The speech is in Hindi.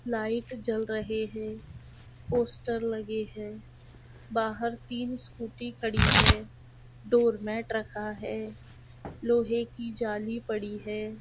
लाइट जल रहे है पोस्टर लगे है बाहर तीन स्कूटी खड़ी है डोरमेट रखा है लोहे की जाली पड़ी है।